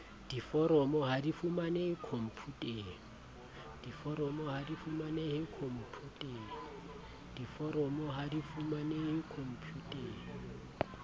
diforomo ha di fumanehe khomputeng